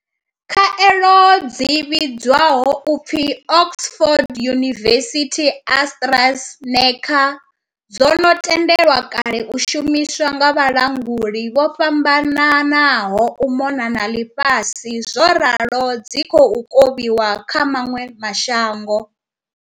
Khaelo dzi vhidzwaho u pfi Oxford University-AstraZe neca dzo no tendelwa kale u shumiswa nga vhalanguli vho fhambananaho u mona na ḽifhasi zworalo dzi khou kovhiwa kha maṅwe ma shango.